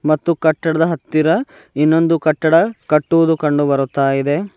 ಮತ್ತು ಕಟ್ಟಡದ ಹತ್ತಿರ ಇನ್ನೊಂದು ಕಟ್ಟಡ ಕಟ್ಟುವುದು ಕಂಡುಬರುತ್ತಯಿದೆ.